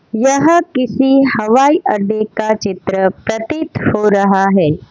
यह किसी हवाई अड्डे का चित्र प्रतीत हो रहा है।